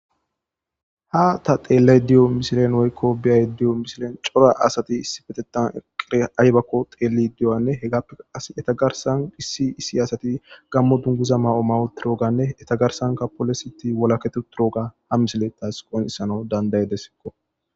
ha ta xeelley diyo misilen woykko biyay diyo misilen cora asati issi betetan eqere aybakko xeeli diyoanne hegappea as etagarsan issi issi asati gammo dunguza ma7o mawo tirooganne etagarsanka polositi wolaketuturooga ha misilettas qonisano dandayedessikko